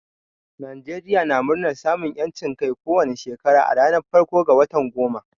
Najeriya na murnar samun yancin Kai ko wani Shekara a ranar farko ga watan goma.